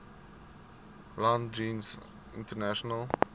land jeens internasionale